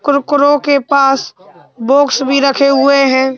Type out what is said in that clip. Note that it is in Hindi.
कुरकुरों के पास बॉक्स भी रखे हुए हैं।